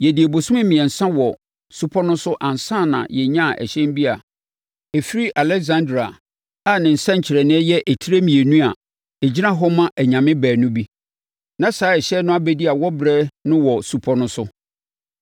Yɛdii abosome mmiɛnsa wɔ supɔ no so ansa na yɛnyaa ɛhyɛn bi a ɛfiri Aleksandria a ne nsɛnkyerɛnneɛ yɛ etire mmienu a ɛgyina hɔ ma anyame baanu bi. Na saa ɛhyɛn no abɛdi awɔberɛ no wɔ supɔ no so.